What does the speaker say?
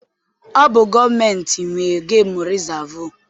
Ọ bụ gọọmentị nwe gemu rịzaavụ.